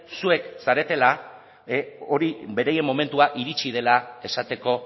zuek zaretela hori beraien momentua iritsi dela esateko